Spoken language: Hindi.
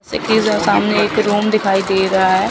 सामने एक रूम दिखाई दे रहा है।